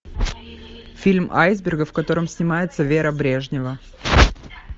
фильм айсберга в котором снимается вера брежнева